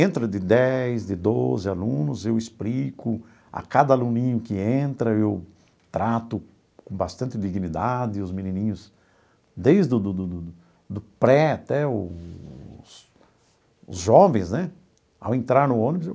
Entra de dez, de doze alunos, eu explico a cada aluninho que entra, eu trato com bastante dignidade os menininhos, desde do do do do do pré até os os jovens né, ao entrar no ônibus eu